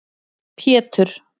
Pétur